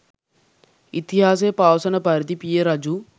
ඉතිහාසය පවසන පරිදි පිය රජු